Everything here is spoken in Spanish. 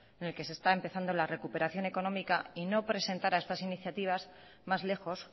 en el que se está empezando la recuperación económica y no presentara estas iniciativas más lejos